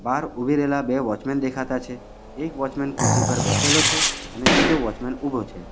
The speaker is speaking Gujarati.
બહાર ઉભી રહેલા બે વોચમેન દેખાતા છે એક વોચમેન ખુરશી પર બેસેલો છે અને બીજો વોચમેન ઊભો છે.